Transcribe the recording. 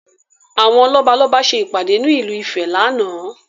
Àwọn lọ́balọ́ba ṣe ìpàdé ní ìlú ìfẹ́ láánaà